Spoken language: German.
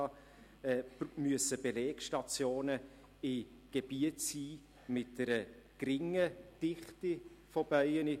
Deshalb müssen die Belegstationen in Gebieten sein mit einer geringen Dichte von Bienen.